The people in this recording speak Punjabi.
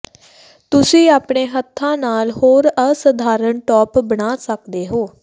ਤੁਸੀਂ ਆਪਣੇ ਹੱਥਾਂ ਨਾਲ ਹੋਰ ਅਸਧਾਰਨ ਟੋਪ ਬਣਾ ਸਕਦੇ ਹੋ